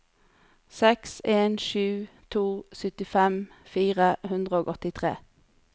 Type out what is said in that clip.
seks en sju to syttifem fire hundre og åttitre